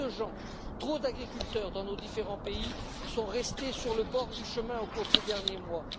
Trop de gens, trop d'agriculteurs, dans nos différents pays, sont restés sur le bord du chemin au cours de ces derniers mois.